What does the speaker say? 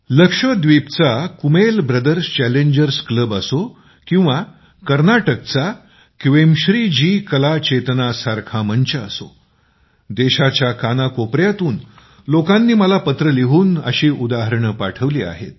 लक्षद्वीपचा Kumel brothers challengers club असो किंवा कर्नाटकचे क्वेमश्री जीकला चेतना सारखे व्यासपीठ असोत देशाच्या कानाकोपऱ्यातून लोकांनी मला पत्र लिहून अशी उदाहरणे पाठवली आहेत